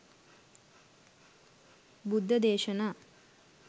බුද්ධ දේශනා